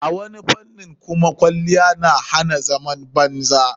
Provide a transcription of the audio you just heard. A wani fanin kuma kwaliyya na hana zaman banza.